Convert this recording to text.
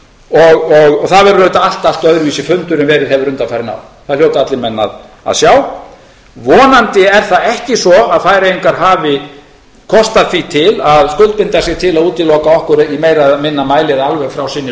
og það verður auðvitað allt öðruvísi fundur en verið hefur undanfarin ár það hljóta allir menn að sjá vonandi er það ekki svo að færeyingar hafi kostað því til að skuldbinda sig til að útiloka okkur í meira eða minna mæli eða alveg frá sinni